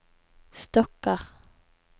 stokker